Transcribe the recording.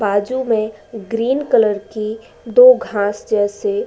बाजू में green colour की घास जैसे --